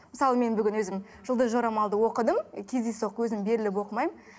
мысалы мен бүгін өзім жұлдыз жорамалды оқыдым кездейсоқ өзім беріліп оқымаймын